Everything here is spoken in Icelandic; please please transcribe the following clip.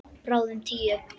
Bráðum tíu.